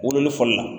Wololi fɔli la